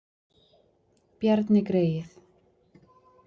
Bjarni greyið!